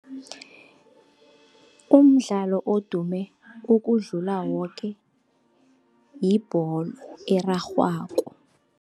Umdlalo odume ukudlula woke yibholo erarhwako.